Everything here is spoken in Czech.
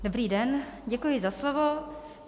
Dobrý den, děkuji za slovo.